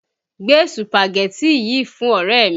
Gbé Sùpàgẹ́tì yìí fún ọ̀rẹ́ mi!